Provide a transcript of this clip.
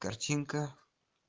картинка